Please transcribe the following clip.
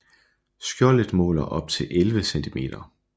Skjoldet måler op til 11 cm